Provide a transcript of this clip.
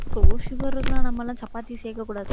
low sugar இருக்குன்னா, நம்ம எல்லாம் சப்பாத்தி சேர்க்கக் கூடாது